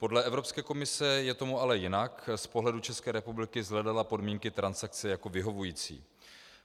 Podle Evropské komise je tomu ale jinak, z pohledu České republiky shledala podmínky transakce jako vyhovující.